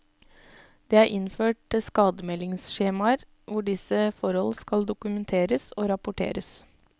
Det er innført skademeldingsskjemaer, hvor disse forhold skal dokumenteres og rapporteres.